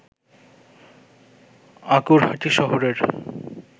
আঁকুড়হাটি শহরের